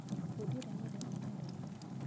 Fundi ũrĩa nĩ endetwo nĩ andũ aingĩ.